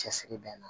Cɛsiri bɛ na